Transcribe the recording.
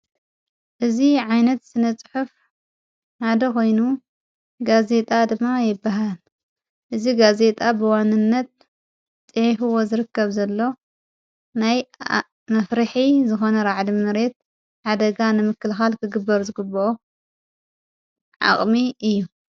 እዝ ዓይነት ስነጽሑፍ ናደ ኾይኑ ጋዜጣ ድማ የበሃል እዝ ጋዜጣ ብዋንነት ጥሕፍዎ ዝርከብ ዘሎ ናይ መፍርኂ ዝኾነ ረዕድምምሬት ዓደጋ ንምክልኻል ክግበር ዝግብኦ ዓቕሚ እዩ።